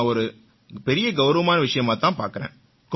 இதை நான் ஒரு பெரிய கௌரவமான விஷயமாத் தான் பார்க்கறேன்